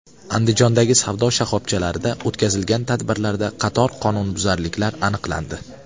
Andijondagi savdo shoxobchalarida o‘tkazilgan tadbirlarda qator qonunbuzarliklar aniqlandi.